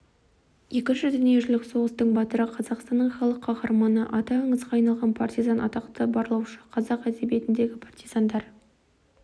екінші дүниежүзілік соғыстың батыры қазақстанның халық қаһарманы аты аңызға айналған партизан атақты барлаушы қазақ әдебиетіндегі партизандар